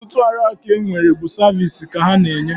Ọtụtụ ọrụaka ndị e nwere bụ saviisi ka ha na-enye